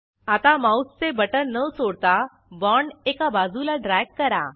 आता माऊसचे बटण न सोडता बाँड एका बाजूला ड्रॅग करा